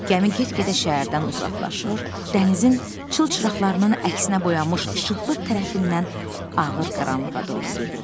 Gəmi get-gedə şəhərdən uzaqlaşır, dənizin çılçıraqlarının əksinə boyanmış işıqlı tərəfindən ağır qaranlığa doğru gedirdi.